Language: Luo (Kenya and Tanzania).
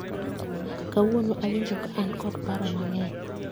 Kawuono awinjo ka an kod paro mang'eny